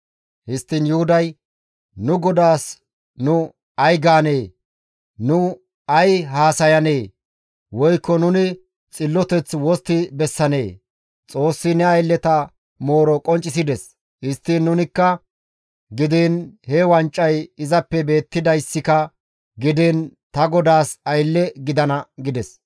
Histtiin Yuhuday, «Nu godaas nu ay gaanee? Nuni ay haasayanee? Woykko nuni xilloteth wostti bessanee? Xoossi ne aylleta mooro qonccisides. Histtiin nunakka gidiin he wancay izappe beettidayssika gidiin ta godaas aylle gidana» gides.